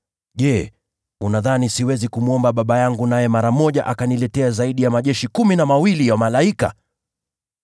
Je, unadhani siwezi kumwomba Baba yangu naye mara moja akaniletea zaidi ya majeshi kumi na mawili ya malaika?